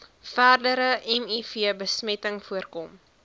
verdere mivbesmetting voorkom